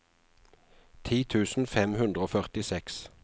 ti tusen fem hundre og førtiseks